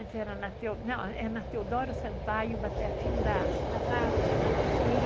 Antes era na Teodoro... Não, era na Teodoro Sampaio, mas pertinho da... Na praça, na Rua de Cima da Praça.